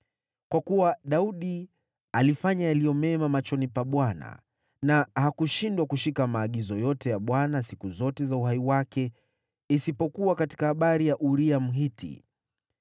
Kwa kuwa Daudi alifanya yaliyo mema machoni pa Bwana na hakushindwa kushika maagizo yote ya Bwana siku zote za uhai wake, isipokuwa katika habari ya Uria, Mhiti.